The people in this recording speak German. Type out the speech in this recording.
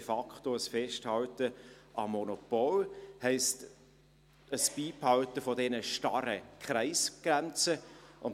de facto ein Festhalten am Monopol, heisst ein Beibehalten an den starren Kreisgrenzen.